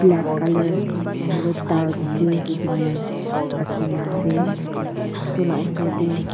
black colour na hoile dark grey hoike ne rakhi na ase tu lah osor teh--